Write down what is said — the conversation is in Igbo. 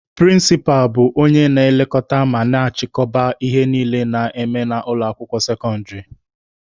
Prịnsịpa bụ onye na-elekọta ma na-achịkọba ihe niile a na-eme na ụlọ akwụkwọ sekọndịrị.